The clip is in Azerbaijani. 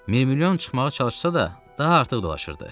Mirmilyon çıxmağa çalışsa da, daha artıq dolaşırdı.